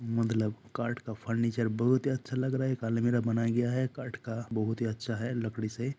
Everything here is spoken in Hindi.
मतलब कार्ट का फर्नीचर बहुत ही अच्छा लग रहा है एक अलमीरा बनाया गया है कार्ट का बहुत ही अच्छा है लकड़ी से--